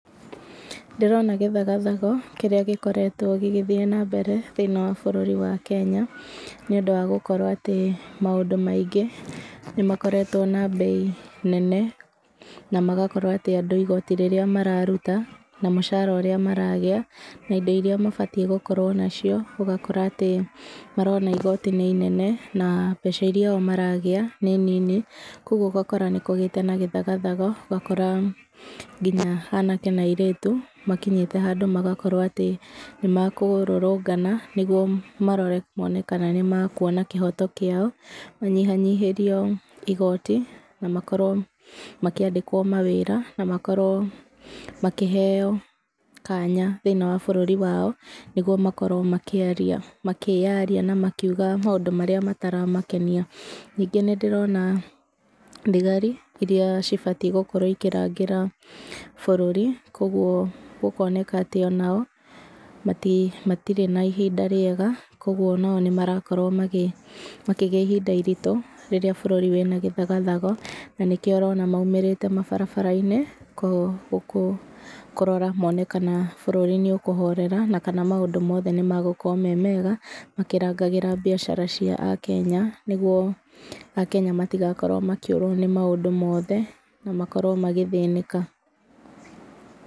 Ndĩrona gĩthagathago kĩrĩa gĩkoretwo gĩgĩthiĩ nambere thĩiniĩ wa bũrũri wa Kenya nĩ ũndũ wa gũkorwo atĩ maũndũ maingĩ nĩ makoretwo na mbei nene, na magakorwo atĩ andu igoti rĩrĩa mararuta na mũcara ũrĩa maragĩa, na indo iria mabatiĩ gũkorwo nacio, ũgakora atĩ marona igoti nĩ inene na mbeca iria o maragĩa nĩ nini. Koguo ũgakora nĩ kũgĩte na gĩthagathago ũgakora nginya anake na airĩru makinyĩte handũ magakorwo atĩ nĩ mekũrũrũngana, nĩguo marore mone kana nĩmekuona kĩhoto kĩao. Manyihanyihĩrio igoti na makorwo makiandĩkwo mawĩra na makorwo makĩheyo kanya thĩiniĩ wa bũrũri wao, nĩguo makorwo makĩyaria na makiuga maũndũ marĩa mataramakenia. Ningĩ nĩndĩrona thigari iria cibatiĩ gũkorwo ikĩrangĩra bũrũri. Koguo gũkoneka atĩ o nao matirĩ na ihinda rĩega, koguo o nao nĩ marakorwo makigĩa ihinda iritũ rĩrĩa bũruri wĩna gĩthagathago, na nĩkĩo ũrona maumĩrĩte mabarabara-inĩ kũrora mone kana bũrũri nĩ ũkũhorera, na kana maũndũ mothe nĩ megũkorwo me mega, makĩrangagĩra biacara cia Akenya, nĩguo Akenya matigakorwo makiũrwo nĩ maũndũ mothe na makorwo magĩthĩnĩka.